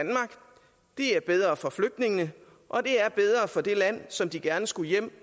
er bedre for flygtningene og det er bedre for det land som de gerne skulle hjem